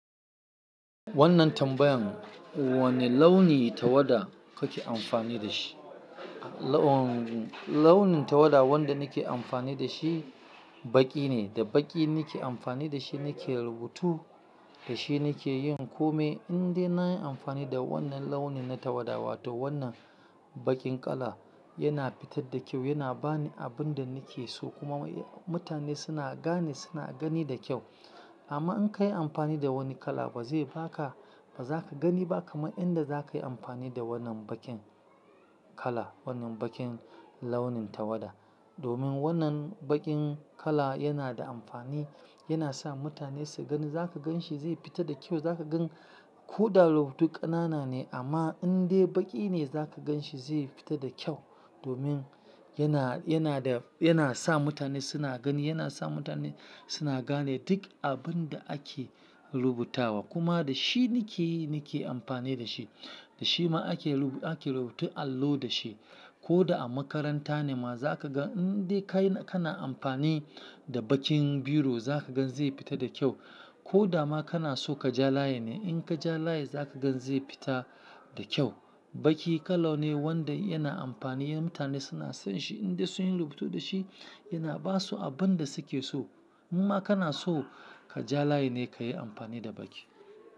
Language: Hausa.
Wannan tambayan, wane launi tawada kake amfani da shi? Laun- launin tawada wanda nake amfani da shi baƙi ne, da baƙi nake amfani da shi nake rubutu, da shi nake yin kome. Inde na yi amfani da wannan launin na tawada wato wannan baƙin kala yana fitar da kyau, yana bani abin da nake so kuma mutane suna gane, suna gani da kyau. Amma in ka yi amfani da wani kala ba zai ba ka, ba za ka gani ba kamar inda za ka yi amfani da wannan baƙin kala, wannan baƙin launin tawada. Domin wannan baƙin kala yana da amfani, yana sa mutane su gani, za ka gan shi zai fita da kyau, za ka gan ko da rubutu ƙanana ne amma indai baƙi ne za ka gan shi zai fita da kyau. Domin yana, yana da, yana sa mutane suna gani, yana sa mutane suna gane duk abin da ake rubutawa. Kuma da shi nakeyi, nake amfani da shi. Da shi ma ake rubu-- ake rubutun allo da shi. Ko da a makaranta ne ma za ka gan indai ka yi, kana amfani da baƙin biro za ka gan zai fita da kyau. Ko da ma kana so ka ja layin ne in ka ja layi za ka ga zai fita da kyau. Baƙi kala ne wanda yana amfani, mutane suna son shi indai sun yi rubutu da shi yana ba su abin da suke so. Kuma kana so ka ja layi ne ka yi amfani da baƙi.